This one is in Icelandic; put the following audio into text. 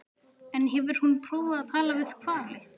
En hefur hún prófað að tala við hvali?